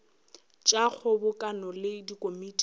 tša kgobokano le dikomiti tša